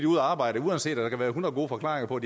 ude at arbejde uanset at der kan være hundrede gode forklaringer på